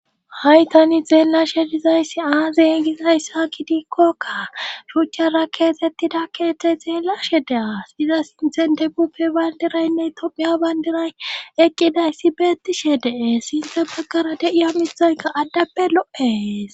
Hay tani zeellashe dizayssi aa zeengizayss haki diikkokka shuuchchara keetettida keete zeellashe de'a iza sinthen deguppe bayndiraynne tophiya bayndiray eqqidayssi beettishe dee sinta baggara de'iya mihayka addappe lo'es.